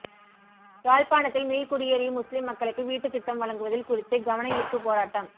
யாழ்ப்பாணத்தில் மீள்குடியேறிய முஸ்லிம் மக்களுக்கு வீட்டுத்திட்டம் வழங்குவதில் குறித்து கவனயீர்ப்புப் போராட்டம்